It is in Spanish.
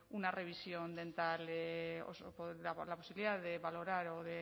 una revisión dental la posibilidad de valorar o